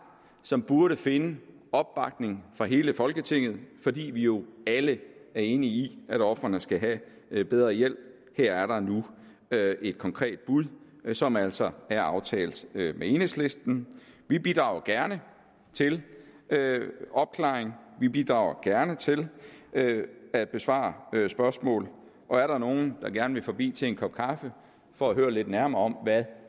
som burde finde opbakning fra hele folketinget fordi vi jo alle er enige i at ofrene skal have bedre hjælp her er der nu et konkret bud som altså er aftalt med enhedslisten vi bidrager gerne til opklaring vi bidrager gerne til at besvare spørgsmål og er der nogle der gerne vil forbi til en kop kaffe for at høre lidt nærmere om hvad